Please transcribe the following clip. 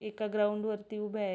एका ग्राउंड वरती उभ्याय.